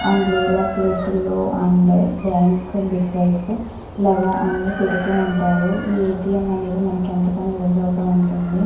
And rural place లో అంటే bank decides లో ఇలాగా పెడుతూ ఉంటారు ఏటీఎం అనేది మనకు ఎంతగానో యూస్ అవుతూ ఉంటుంది.